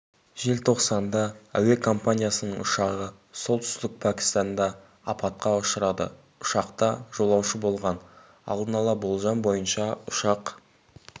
желтоқсанда әуе компаниясының ұшағы солтүстік пәкістанда апатқа ұшырады ұшақта жолаушы болған алдын ала болжам бойынша ұшақ